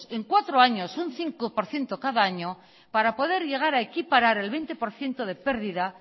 en cuatro años un cinco por ciento cada año para poder llegar a equiparar el veinte por ciento de pérdida